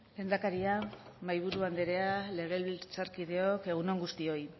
lehendakaria mahaiburu andrea legebiltzarkideok egun on guztioi